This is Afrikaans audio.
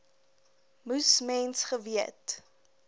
moes mens geweet